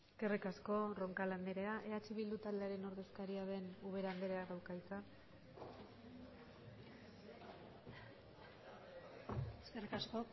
eskerrik asko roncal andrea eh bildu taldearen ordezkaria den ubera andreak dauka hitza eskerrik asko